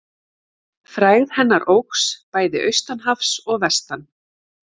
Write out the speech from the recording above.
Frægð hennar óx bæði austan hafs og vestan.